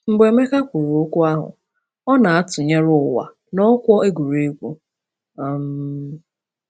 Mgbe Emeka kwuru okwu ahụ, ọ na-atụnyere ụwa n’ọkwọ egwuregwu. um